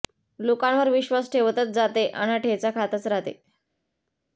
लोकांवर विश्वास ठेवतच जाते अन ठेचा खातच राहते